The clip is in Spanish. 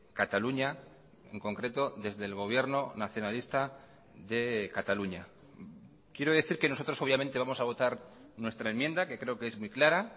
cataluña en concreto desde el gobierno nacionalista de cataluña quiero decir que nosotros obviamente vamos a votar nuestra enmienda que creo que es muy clara